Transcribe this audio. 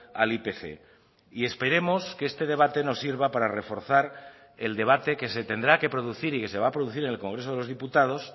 al ipc y esperemos que este debate nos sirva para reforzar el debate que se tendrá que producir y que se va a producir en el congreso de los diputados